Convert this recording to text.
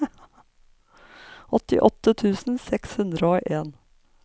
åttiåtte tusen seks hundre og en